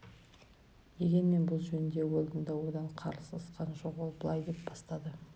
дегенмен бұл жөнінде уэлдон да одан қалысқан жоқ ол былай деп бастады